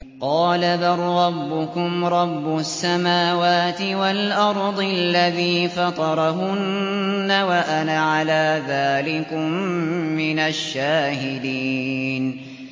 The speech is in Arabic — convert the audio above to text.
قَالَ بَل رَّبُّكُمْ رَبُّ السَّمَاوَاتِ وَالْأَرْضِ الَّذِي فَطَرَهُنَّ وَأَنَا عَلَىٰ ذَٰلِكُم مِّنَ الشَّاهِدِينَ